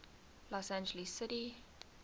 los angeles city